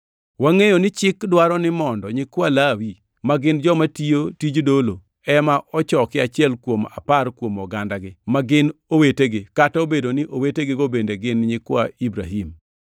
Wangʼeyo ni chik dwaro ni mondo nyikwa Lawi ma gin joma tiyo tij dolo ema ochoki achiel kuom apar kuom ogandagi, ma gin owetegi, kata obedo ni owetegigo bende gin nyikwa Ibrahim.